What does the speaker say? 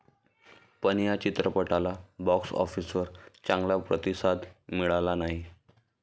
पण या चित्रपटाला बॉक्स ऑफिसवर चांगला प्रतिसाद मिळाला नाही.